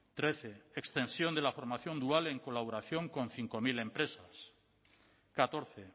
trece extensión de la formación dual en colaboración con cinco mil empresas catorce